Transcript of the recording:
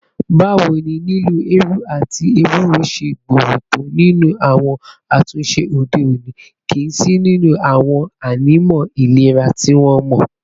Báwo ni lílo eérú àti éwurò ṣe gbòòrò tó nínú àwọn àtúnṣe òde òní, kí sì ni àwọn ànímọ́ ìlera tí wọ́n mọ̀?